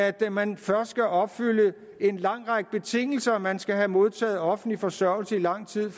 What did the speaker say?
at man først skal opfylde en lang række betingelser man skal have modtaget offentlig forsørgelse i lang tid